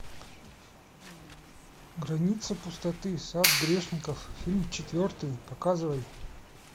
граница пустоты сад грешников фильм четвертый показывай